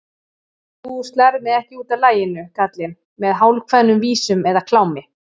Þú slærð mig ekki útaf laginu, kallinn, með hálfkveðnum vísum eða klámi.